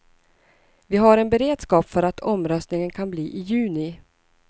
Vi har en beredskap för att omröstningen kan bli i juni.